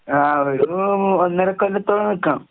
ആഹ് ഒരു മൂ ഒന്നരക്കൊല്ലത്തോളം നിക്കണം.